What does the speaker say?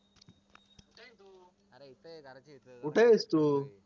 कुठायेस तू